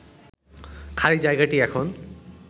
খালি জায়গাটি এখন